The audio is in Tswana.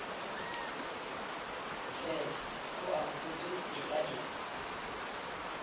fela go amogetswe tetla e